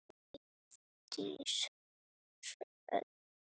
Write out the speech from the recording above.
Eydís Hrönn.